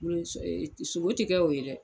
sogo tɛ kɛ o ye dɛ.